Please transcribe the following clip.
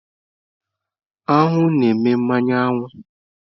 Aṅụ na-eme mmanụ aṅụ.